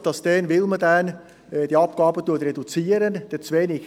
Wir kommen zu den Geschäften der BVE.